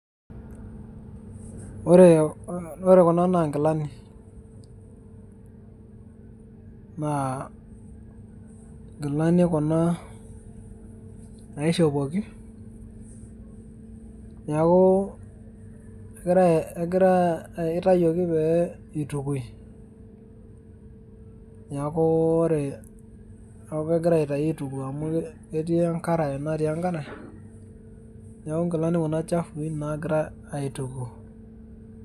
Ore kuna naa nkilani. Naa inkilani kuna naishopoki, neeku kitayiok pee itukui. Neeku kegirai aitayu aituku amu ketii enkarae natii enkare, neeku inkilani kuna chafui nagirai aituku.